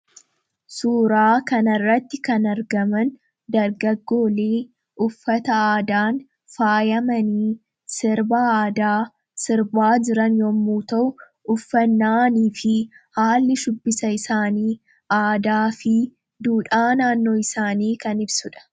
suuraa kanarratti kan argaman dargaggoolii uffata aadaan faayamanii sirba aadaa sirbaa jiran yommuu ta'u uffannaanii fi haalli shubbisa isaanii aadaa fi duudhaa naannoo isaanii kan ibsuudha.